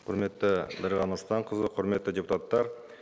құрметті дариға нұрсұлтанқызы құрметті депутаттар